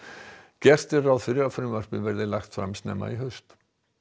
gert er ráð fyrir að frumvarpið verði lagt fram snemma í haust